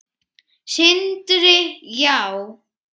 Sindri: Já?